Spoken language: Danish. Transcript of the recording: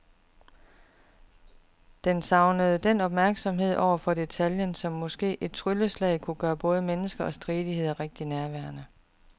Den savner den opmærksomhed over for detaljen, der måske som et trylleslag kunne gøre både mennesker og stridigheder rigtig nærværende.